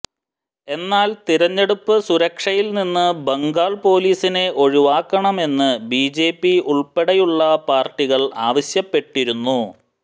എന്നാൽ തിരഞ്ഞെടുപ്പ് സുരക്ഷയിൽ നിന്ന് ബംഗാൾ പൊലീസിനെ ഒഴിവാക്കണമെന്ന് ബിജെപി ഉൾപ്പടെയുള്ള പാർട്ടികൾ ആവശ്യപ്പെട്ടിരുന്നു